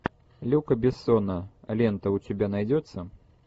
люка бессона лента у тебя найдется